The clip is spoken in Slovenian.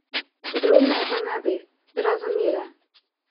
Podrobneje pa ne bi, brez zamere.